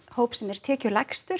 hópi sem er tekjulægstur